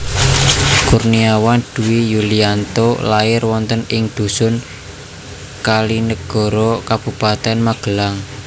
Kurniawan Dwi Yulianto lair wonten ing dhusun Kalinegoro Kabupatèn Magelang